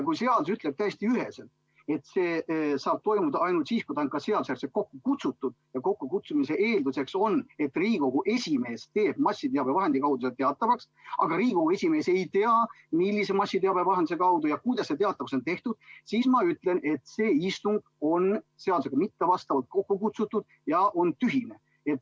Kui seadus ütleb täiesti üheselt, et istung saab toimuda ainult siis, kui see on seadusejärgselt kokku kutsutud, ja kokkukutsumise eeldus on, et Riigikogu esimees teeb massiteabevahendite kaudu selle teatavaks, aga praegu Riigikogu esimees ei tea, millise massiteabevahendi kaudu ja kuidas see teatavaks on tehtud, siis on istung kokku kutsutud nii, et see pole seadusega kooskõlas ja on seetõttu tühine.